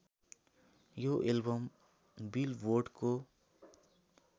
यो एल्बम बिलबोर्डको